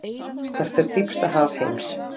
Hvert er dýpsta haf heims?